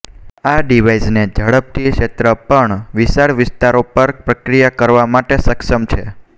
આ ડિવાઇસને ઝડપથી ક્ષેત્ર પણ વિશાળ વિસ્તારો પર પ્રક્રિયા કરવા માટે સક્ષમ છે